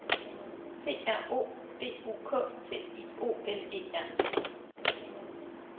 P R O D U K T I O N E R